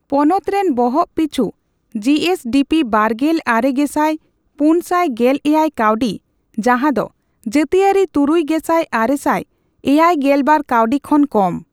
ᱯᱚᱱᱚᱛᱨᱮᱱ ᱵᱚᱦᱚᱜᱯᱤᱪᱷᱩ ᱡᱤᱹᱮᱥᱹᱰᱤᱹᱯᱤᱹ ᱵᱟᱨᱜᱮᱞ ᱟᱨᱮ ᱜᱮᱥᱟᱭ ᱯᱩᱱᱥᱟᱭ ᱜᱮᱞ ᱮᱭᱟᱭ ᱠᱟᱣᱰᱤ , ᱡᱟᱦᱟᱫᱚ ᱡᱟᱹᱛᱤᱭᱟᱹᱨᱤ ᱛᱩᱨᱩᱭ ᱜᱮᱥᱟᱭ ᱟᱨᱮᱥᱟᱭ ᱮᱭᱟᱭᱜᱮᱞᱵᱟᱨ ᱠᱟᱣᱰᱤ ᱠᱷᱚᱱ ᱠᱚᱢ ᱾